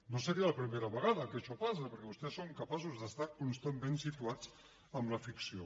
no seria la primera vegada que això passa perquè vostès són capaços d’estar constantment situats en la ficció